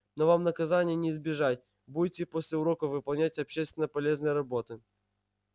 но вам наказания не избежать будете после уроков выполнять общественно полезные работы